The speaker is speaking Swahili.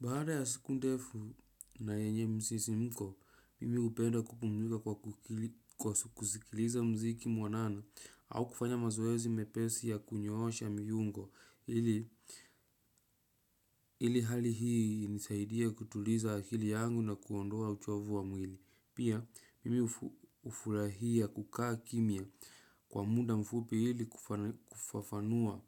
Baada ya siku ndefu na yenye msisimko, mimi hupenda kupumzika kwa kusikiliza mziki muanana au kufanya mazoezi mepesi ya kunyoosha viungo. Hili hali hii hunisaidia kutuliza akili yangu na kuondoa uchovu wa mwili. Pia, mimi hufurahia kukaa kimya kwa muda mfupi ili kufafanua